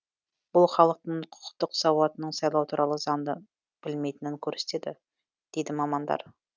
бұл халықтың құқықтық сауатының сайлау туралы заңды білмейтінін көрсетеді дейді мамандар